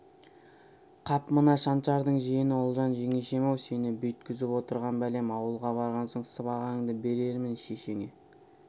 қап мына шаншардың жиені ұлжан жеңешем-ау сені бүйткізіп отырған бәлем ауылға барған соң сыбағаңды берермін шешеңе